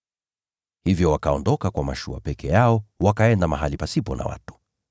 Hivyo wakaondoka kwa mashua peke yao, wakaenda mahali pasipo na watu.